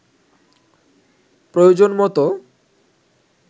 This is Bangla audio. প্রয়োজনমতো